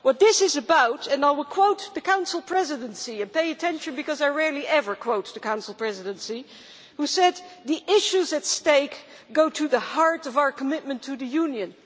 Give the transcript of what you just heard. What this is about, and I will quote the Council Presidency pay attention because I rarely ever quote the Council Presidency who said that the issues at stake go to the heart of our commitment to the Union'.